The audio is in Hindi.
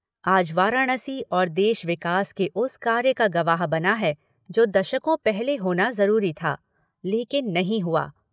आज वाराणसी और देश विकास के उस कार्य का गवाह बना है जो दशको पहले होना जरूरी था, लेकिन नहीं हुआ।